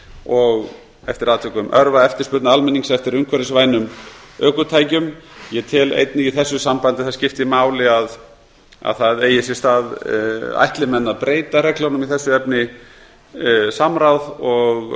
og eftir atvikum örva eftirspurn almennings eftir umhverfisvænum ökutækjum ég tel einnig í þessu sambandi að það skipti máli að það eigi sér stað ætli menn að breyta reglunum í þessu efni samráð og